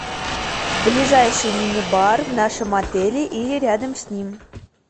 ближайший мини бар в нашем отеле или рядом с ним